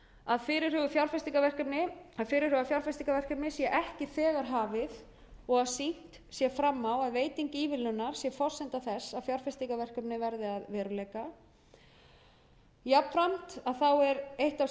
að fyrirhugað fjárfestingarverkefni sé ekki þegar hafið og sýnt sé fram á að veiting ívilnunar sé forsenda þess að fjárfestingarverkefni verði að veruleika jafnframt er eitt af